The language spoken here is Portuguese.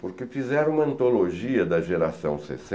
Porque fizeram uma antologia da geração